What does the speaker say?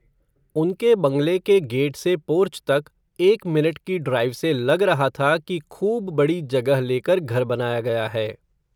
उनके बंगले के गेट से, पोर्च तक, एक मिनट की ड्राईव से, लग रहा था कि, खूब बडी जगह लेकर, घर बनाया गया है